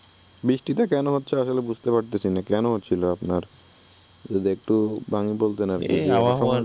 বৃষ্টিটা কেনো হচ্ছে আসলে বুঝতে পারতেসি না, কেনো হচ্ছিলো আপনার? যদি একটু ভাঙ্গি বলতেন এরি, এই আবহাওয়ার